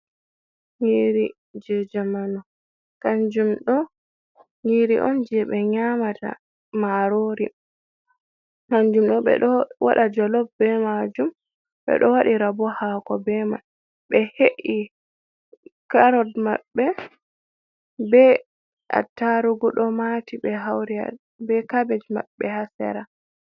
Nyiri je jamanu kanjum do nyiri on je be nyamata marori kanjum ɗo ɓe do wada jolof be majum ɓe ɗo wadi rabo hako be man. Be he’i karod mabbe be atarugudo mati be hauri be kabej maɓbe hasera.